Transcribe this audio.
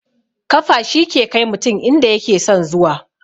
Kafa shi ke kai mutum inda yake son zuwa